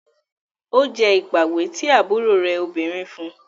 O jẹ ipàwé ti àbúrò rẹ òbinrín fún.